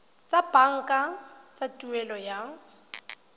tsa banka tsa tuelo ya